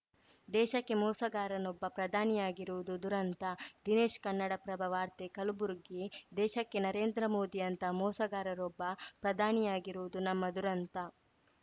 ದೇಶಕ್ಕೆ ಮೋಸಗಾರನೊಬ್ಬ ಪ್ರಧಾನಿಯಾಗಿರುವುದು ದುರಂತ ದಿನೇಶ್‌ ಕನ್ನಡಪ್ರಭ ವಾರ್ತೆ ಕಲಬುರಗಿ ದೇಶಕ್ಕೆ ನರೇಂದ್ರ ಮೋದಿಯಂಥ ಮೋಸಗಾರರೊಬ್ಬ ಪ್ರಧಾನಿಯಾಗಿರುವುದು ನಮ್ಮ ದುರಂತ